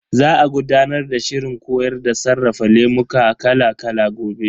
Za a gudanar da shirin koyar da sarrafa lemuka kala kala gobe.